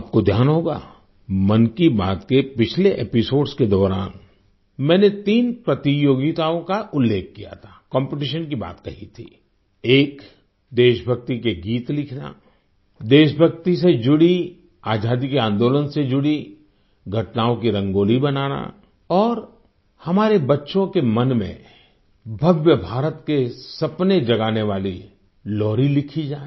आपको ध्यान होगा मन की बात के पिछले एपिसोड्स के दौरान मैंने तीन प्रतियोगिताओं का उल्लेख किया था कॉम्पिटिशन की बात कही थी एक देशभक्ति के गीत लिखना देश भक्ति से जुड़ी आजादी के आंदोलन से जुड़ी घटनाओं की रंगोली बनाना और हमारे बच्चों के मन में भव्य भारत के सपने जगाने वाली लोरी लिखी जाए